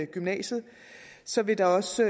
gymnasiet så vil der også